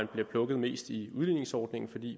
plukket mest i udligningsordningen fordi